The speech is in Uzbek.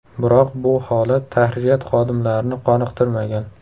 Biroq bu holat tahririyat xodimlarini qoniqtirmagan.